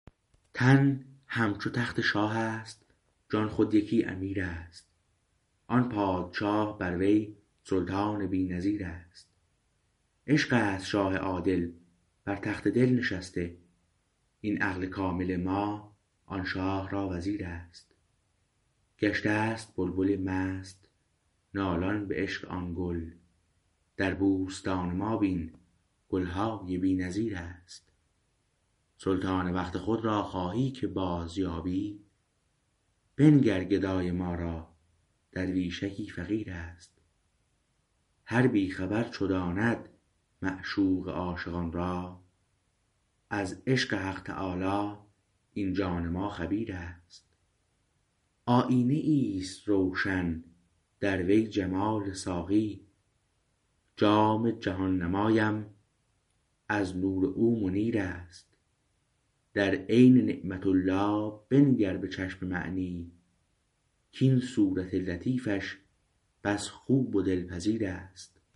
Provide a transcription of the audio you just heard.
تن همچو تخت شاهست جان خود یکی امیر است آن پادشاه بر وی سلطان بی نظیر است عشق است شاه عادل بر تخت دل نشسته این عقل کامل ما آن شاه را وزیر است گشته است بلبل مست نالان به عشق آن گل در بوستان ما بین گلهای بی نظیر است سلطان وقت خود را خواهی که بازیابی بنگر گدای ما را درویشکی فقیر است هر بی خبر چو داند معشوق عاشقان را از عشق حق تعالی این جان ما خبیر است آیینه ایست روشن در وی جمال ساقی جام جهان نمایم از نور او منیر است در عین نعمت الله بنگر به چشم معنی کاین صورت لطیفش بس خوب و دلپذیر است